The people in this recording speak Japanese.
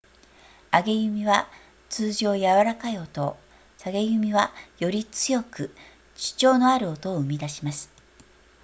上げ弓は通常やわらかい音を下げ弓はより強く主張のある音を生み出します